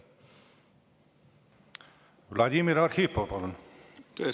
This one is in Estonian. Vladimir Arhipov, palun!